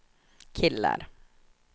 killar